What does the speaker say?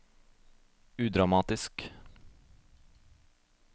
udramatisk